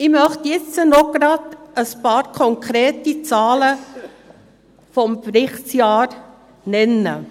Jetzt möchte ich noch ein paar konkrete Zahlen aus dem Berichtsjahr nennen.